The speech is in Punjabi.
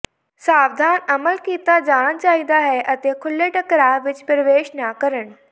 ਸਾਵਧਾਨ ਅਮਲ ਕੀਤਾ ਜਾਣਾ ਚਾਹੀਦਾ ਹੈ ਅਤੇ ਖੁੱਲ੍ਹੇ ਟਕਰਾਅ ਵਿੱਚ ਪ੍ਰਵੇਸ਼ ਨਾ ਕਰਨ